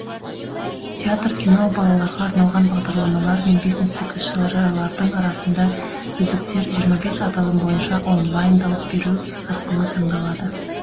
театр кино балаларға арналған бағдарламалар мен бизнестік іс шаралардың арасында үздіктер жиырма бес аталым бойынша онлайн дауыс беру арқылы таңдалады